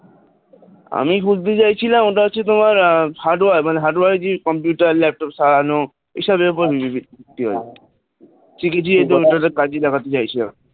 আমি খুলতে চাইছিলাম ওটা হচ্ছে তোমার hardware মানে hardware এর যে computer laptop সারানো এসবের উপরে ভিত্তি করে আর কি টা কাজে লাগাতে চাইছিলাম